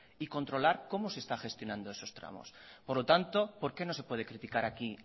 y controlar cómo se están gestionando esos tramos por lo tanto por qué no se puede criticar aquí